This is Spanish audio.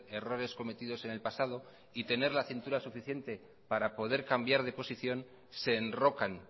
errores cometidos en el pasado y tener la cintura suficiente para poder cambiar de posición se enrocan